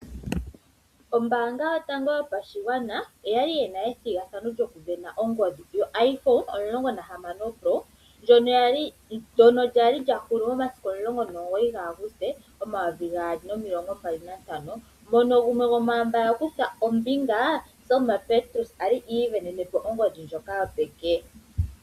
Ombaanga yotango yopashigwana oyali yina ethigathano lyokusindana ongodhi yoIphone 16 pro ndyono lyali lyahulu momasiku o19 Aguste 2025 mono gumwe gwomwaamba yakutha ombinga Selma Petrus ivenenepo ongodhi ndjoka yopeke.